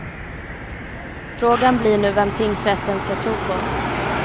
Frågan blir nu vem tingsrätten ska tro på.